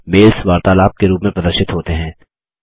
mails वार्तालाप के रूप में प्रदर्शित होते हैं